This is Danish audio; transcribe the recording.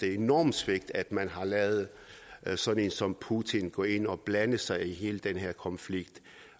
et enormt svigt at man har ladet sådan en som putin gå ind og blande sig i hele den her konflikt